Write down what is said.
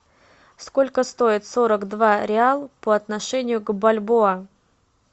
сколько стоит сорок два реал по отношению к бальбоа